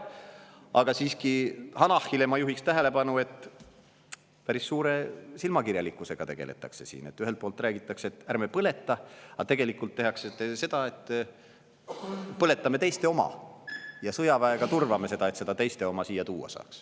Aga siiski, Hanahi tähelepanu ma juhiksin sellele, et päris suure silmakirjalikkusega tegeldakse siin: ühelt poolt räägitakse, et ärme põletame, aga tegelikult põletatakse teiste oma, ja sõjaväega turvatakse seda, et saaks teiste oma siia tuua.